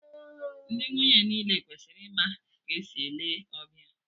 Ndị nwunye niile kwesịrị ịma ka e si ele ọbịa